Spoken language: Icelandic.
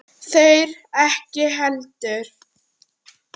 Þeir ekki heldur.